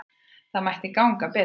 Það mætti ganga betur.